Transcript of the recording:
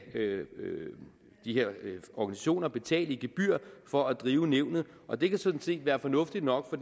de her organisationer betale i gebyr for at drive nævnet og det kan sådan set være fornuftigt nok